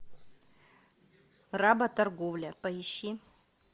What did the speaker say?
работорговля поищи